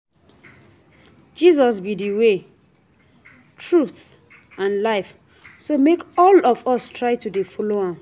Jesus be the way, truth and life so make all of us try to dey follow am